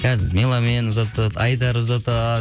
қазір меломан ұзатады айдар ұзатады